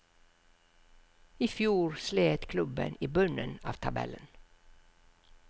I fjor slet klubben i bunnen av tabellen.